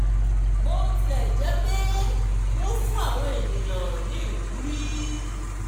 bó tilẹ̀ jẹ́ pé wọ́n fuń àwọn ènìyàn ní ìwúrí